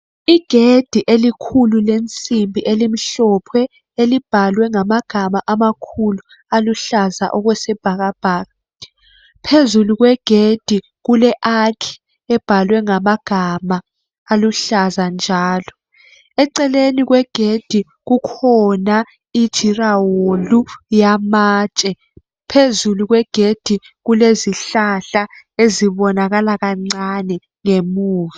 Igedi elikhulu lensimbi elimhlophe. Elibhalwe ngamagama amakhulu aluhlaza okwesibhakabhaka. Phezulu kwegedi kule arch ebhalwe ngamagama aluhlaza njalo. Eceleni kwegedi kukhona iduraholu, eyamatshe. Phezu kwegedi, kulezihlahla ezibonakala kancane ngemuva,